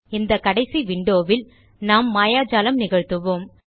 இந்த கடைசி விண்டோ வில் நாம் மாயாஜாலம் நிகழ்த்துவோம்